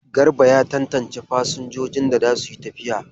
Garba ya tantance fasinjojin da za su yi tafiya.